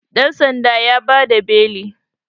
dansan ya ba da beli